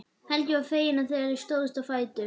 Helgi var feginn þegar þau stóðu loks á fætur.